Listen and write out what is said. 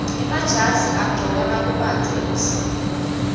emajazi agcokwa nakubandza ebusika